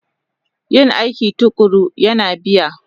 Yin aiki tuƙuru yana biya